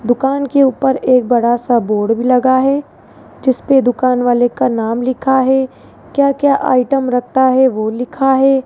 दुकान के ऊपर एक बड़ा सा बोर्ड भी लगा है जिसपे दुकान वाले का नाम लिखा है क्या क्या आइटम रखता है वो लिखा है।